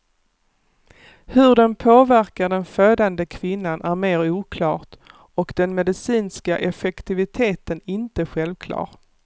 Hur den påverkar den födande kvinnan är mer oklart, och den medicinska effektiviteten inte självklar.